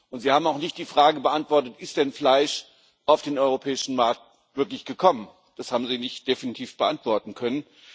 Und Sie haben auch nicht die Frage beantwortet Ist denn wirklich Fleisch auf den europäischen Markt gekommen? Das haben Sie nicht definitiv beantworten können.